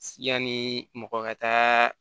Yanni mɔgɔ ka taa